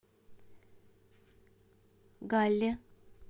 галле